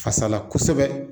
Fasa la kosɛbɛ